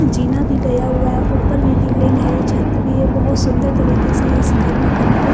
जीना भी गया हुआ है ऊपर भी रीलिंग है छत भी है बहोत सुंदर तरीके से इस घर में कम को--